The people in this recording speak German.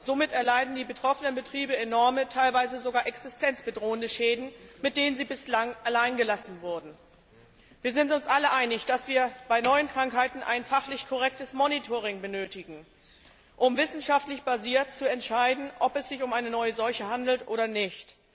Somit erleiden die betroffenen Betriebe enorme, teilweise sogar existenzbedrohende Schäden, mit denen sie bislang alleingelassen wurden. Wir sind uns alle einig, dass wir bei neuen Krankheiten ein fachlich korrektes Monitoring benötigen, um auf wissenschaftlicher Grundlage zu entscheiden, ob es sich um eine neue Seuche handelt oder nicht.